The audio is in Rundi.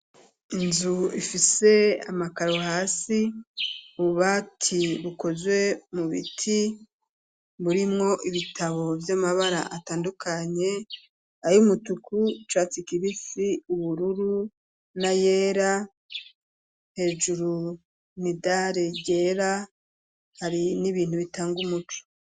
Inzu ifise amakaru hasi bubati bukozwe mu biti burimwo ibitabo vy'amabara atandukanye ayo umutuku catsi kibisi ubururu na yera hejuru ni dali ryera hari n'ibintu bitanga umucu.